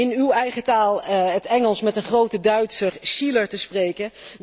Om in uw eigen taal, het Engels, met een grote Duitser, Schiller, te spreken